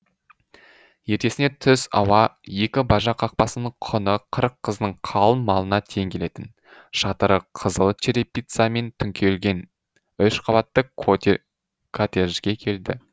ертесіне түс ауа екі бажа қақпасының құны қырық қыздың қалың малына тең келетін шатыры қызыл черепицамен түңкелген үш қабатты коттеджге келді